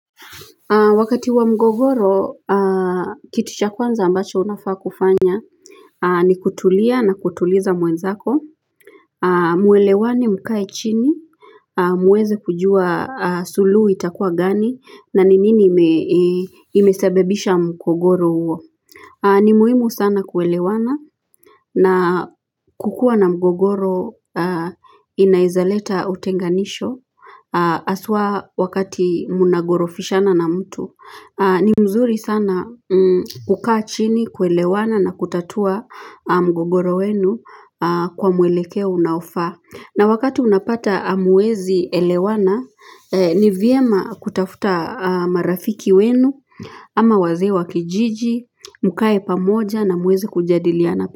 Wakati wa mgogoro, kitu cha kwanza ambacho unafaa kufanya ni kutulia na kutuliza mwenzako, mwelewane mkae chini, muweze kujua suluhu itakua gani, na ni nini imesababisha mgogoro huo. Ni muhimu sana kuelewana na kukua na mgogoro inaezaleta utenganisho haswa wakati mnagorofishana na mtu. Ni mzuri sana kukaa chini kuelewana na kutatua mgogoro wenu kwa mwelekeo unaofaa. Na wakati unapata hamuezi elewana, ni vyema kutafuta marafiki wenu, ama wazee wa kijiji, mkae pamoja na muweze kujadiliana.